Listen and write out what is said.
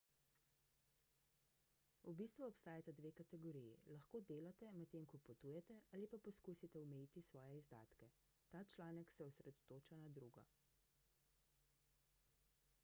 v bistvu obstajata dve kategoriji lahko delate medtem ko potujete ali pa poskusite omejiti svoje izdatke ta članek se osredotoča na drugo